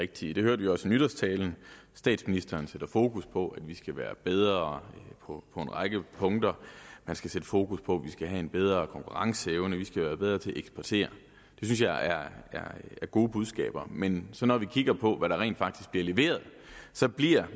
rigtige det hørte vi også i nytårstalen statsministeren sætter fokus på at vi skal være bedre på en række punkter sætter fokus på at vi skal have en bedre konkurrenceevne og at vi skal være bedre til at eksportere det synes jeg er gode budskaber men når vi kigger på hvad der rent faktisk bliver leveret bliver